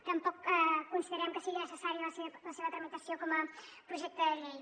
tampoc considerem que sigui necessària la seva tramitació com a projecte de llei